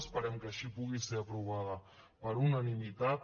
esperem que així pugui ser aprovada per unanimitat